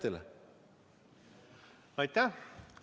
Aitäh!